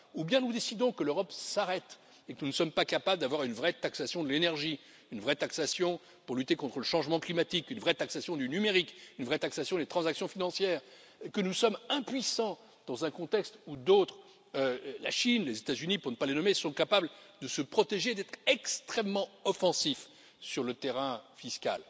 Ou bien nous décidons que l'Europe s'arrête et que nous ne sommes pas capables d'avoir une vraie taxation de l'énergie, une vraie taxation pour lutter contre le changement climatique, une vraie taxation du numérique, une vraie taxation des transactions financières et que nous sommes impuissants dans un contexte où d'autres la Chine et les États Unis, pour ne pas les nommer sont capables de se protéger, d'être extrêmement offensifs sur le terrain fiscal.